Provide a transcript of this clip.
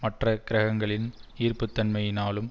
மற்ற கிரகங்களின் ஈர்ப்புத்தன்மையினாலும்